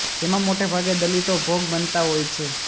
જેમાં મોટે ભાગે દલિતો ભોગ બનતા હોય છે